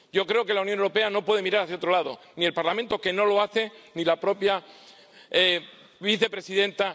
Yo creo que la Unión Europea no puede mirar hacia otro lado, ni el Parlamento —que no lo hace— ni la propia vicepresidenta.